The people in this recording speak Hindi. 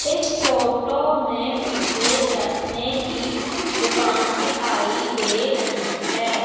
इस फोटो में मुझे चश्मे की दुकान दिखाई दे रही है।